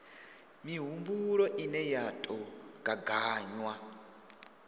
mihumbulo ine ya tou gaganywa